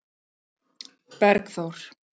Bergþór